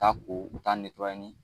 t'a ko u t'a ni